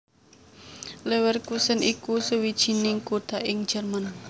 Leverkusen iku sawijining kutha ing Jèrman